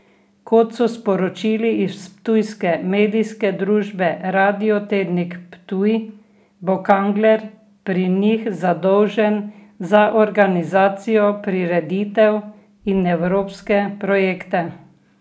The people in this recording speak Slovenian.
Kot so sporočili iz ptujske medijske družbe Radio Tednik Ptuj, bo Kangler pri njih zadolžen za organizacijo prireditev in evropske projekte.